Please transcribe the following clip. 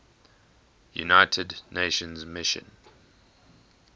united nations mission